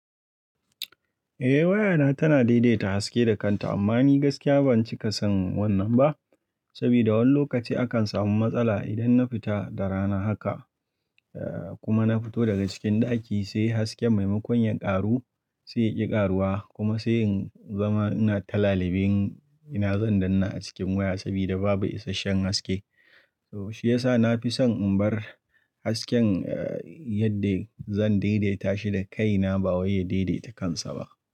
Eh waya na tana daidaita haske da kanta amma ni gaskiya ban cika son wannan ba, saboda wani lokaci akan samu matsala idan na fita da rana haka. Eh kuma na fito daga cikin ɗaki sai hasken maimakon yin ƙaru sai ya ƙi ƙaruwa kuma sai in zama ina ta laliben ina zan danna a cikin waya saboda babu isasshen haske. To shi yasa na fi son in bar hasken eh yadda zan daidaita shi da kaina ba wai ya daidaita kansa ba.